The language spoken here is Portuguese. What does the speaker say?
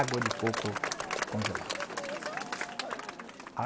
Água de coco congelada.